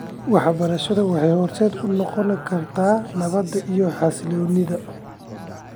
Waxbarashadu waxay horseed u noqon kartaa nabadda iyo xasilloonida .